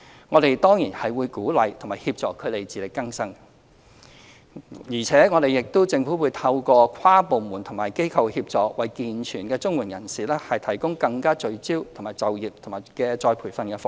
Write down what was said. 我們當然會鼓勵和協助他們自力更生，而且政府將透過跨部門及機構協作，為健全綜援受助人提供更加聚焦的就業及再培訓服務。